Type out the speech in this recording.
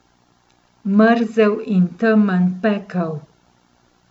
Mrzel in temen pekel.